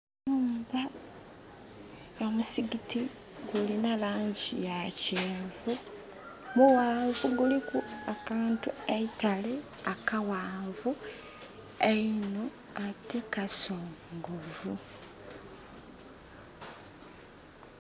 Omusigiti gulina langi yakyenvu mughanvu guliku akantu eitale akaghanvu einho ate kasongovu.